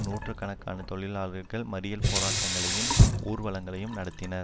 நூற்று கணக்கான தொழிலாளர்கள் மடியல் போராட்டங்களையும் ஊர்வலங்களையும் நடத்தினர்